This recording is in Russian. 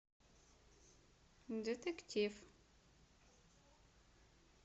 детектив